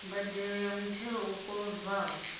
mbadelo ya muthelo u kolodwaho